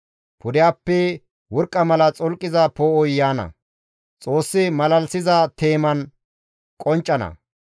Pudehappe worqqa mala xolqiza poo7oy yaana; Xoossi malalisiza teeman qonccana.